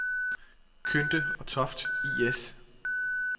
Kynde og Toft I/S